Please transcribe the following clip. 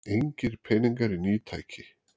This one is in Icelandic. Engir peningar í ný tæki